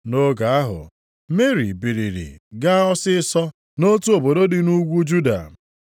Nʼoge ahụ, Meri biliri gaa ọsịịsọ nʼotu obodo dị nʼugwu Juda.